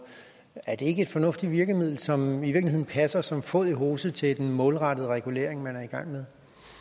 er det ikke et fornuftigt virkemiddel som i virkeligheden passer som fod i hose til den målrettede regulering man er i gang med